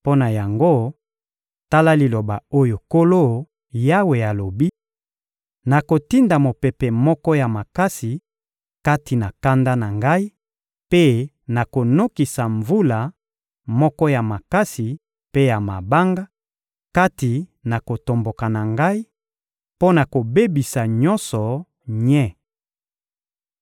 Mpo na yango, tala liloba oyo Nkolo Yawe alobi: Nakotinda mopepe moko ya makasi, kati na kanda na Ngai, mpe nakonokisa mvula moko ya makasi mpe ya mabanga, kati na kotomboka na Ngai, mpo na kobebisa nyonso nye.